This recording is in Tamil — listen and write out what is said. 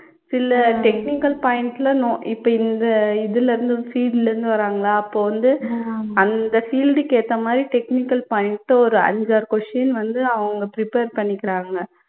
சில technical points ல நொ இப்போ இந்த இதுலயிருந்து field ல இருந்து வராங்களா அப்போ வந்து அந்த field க்கு ஏத்தா மாதிரி technical points ஒரு ஐந்து, ஆறு question வந்து அவங்க prepare பண்ணிக்குறாங்க